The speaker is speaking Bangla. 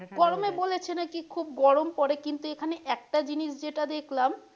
গরমে বলেছে নাকি খুব গরম পড়ে কিন্তু এখানে একটা জিনিস যেটা দেখলাম,